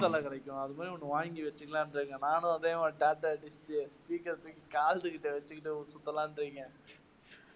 அது மாதிரி ஒண்ணு வாங்கி வெச்சுக்கலாம்னு இருக்கேன். நானும் அதே மாதிரி speaker ர தூக்கி காதுகிட்ட வெச்சுகிட்டு சுத்தலாம்னு வைங்க.